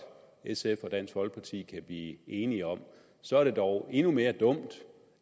sf og dansk folkeparti kan blive enige om så er det dog endnu mere dumt